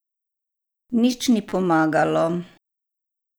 Nič ni pomagalo.